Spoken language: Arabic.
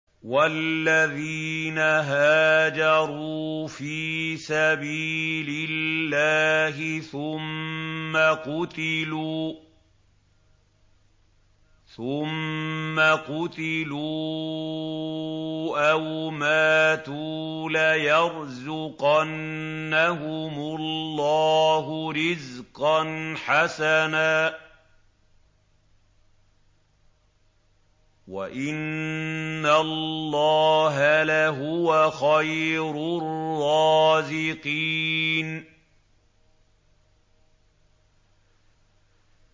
وَالَّذِينَ هَاجَرُوا فِي سَبِيلِ اللَّهِ ثُمَّ قُتِلُوا أَوْ مَاتُوا لَيَرْزُقَنَّهُمُ اللَّهُ رِزْقًا حَسَنًا ۚ وَإِنَّ اللَّهَ لَهُوَ خَيْرُ الرَّازِقِينَ